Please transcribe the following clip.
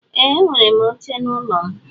Ee enwerem oche na ụlọ mu.